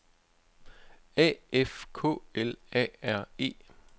A F K L A R E